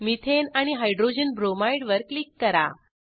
methane आणि hydrogen bromide वर click करा